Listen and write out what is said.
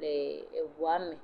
le eʋua me.